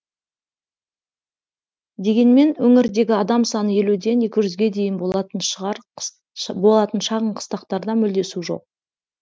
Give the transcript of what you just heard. дегенмен өңірдегі адам саны елуден екі жүзге дейін болатын шағын қыстақтарда мүлде су жоқ